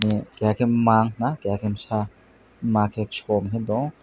keha ke Maa keha ke busa maa ke cho ung tong.